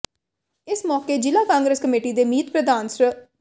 ਇਸ ਮੌਕੇ ਜਿਲ੍ਹਾ ਕਾਂਗਰਸ ਕਮੇਟੀ ਦੇ ਮੀਤ ਪ੍ਰਧਾਨ ਸ੍ਰ